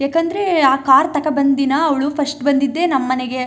ಯಾಕಂದ್ರೆ ಆ ಕಾರ್ ತಕೊ ಬಂದ್ ದಿನ ಅವಳು ಫಸ್ಟ್ ಬಂದಿದ್ದೇ ನಮ್ಮ ಮನೆಗೆ.